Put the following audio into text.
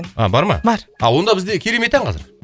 а бар ма бар онда бізде керемет ән қазір